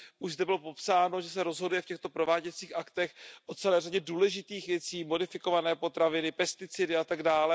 Už zde bylo popsáno, že se rozhoduje v těchto prováděcích aktech o celé řadě důležitých věcí modifikované potraviny, pesticidy atd.